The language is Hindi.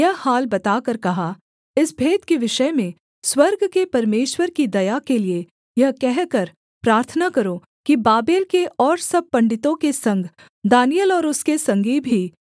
इस भेद के विषय में स्वर्ग के परमेश्वर की दया के लिये यह कहकर प्रार्थना करो कि बाबेल के और सब पंडितों के संग दानिय्येल और उसके संगी भी नाश न किए जाएँ